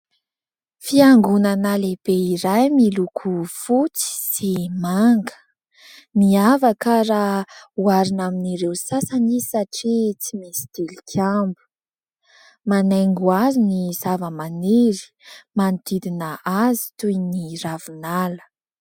Fiangonana lehibe iray miloko fotsy sy manga. Miavaka raha hoharina amin'ireo sasany izy satria tsy misy tilikambo. Manaingo azy ny zava-maniry manodidina azy toy ny ravinala.